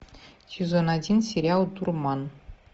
сезон один сериал дурман